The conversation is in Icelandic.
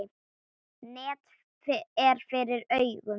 Net er fyrir augum.